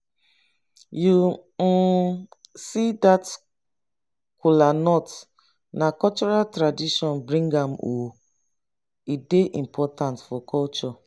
you um see dat kola nut na cultural tradition bring am um e dey important for culture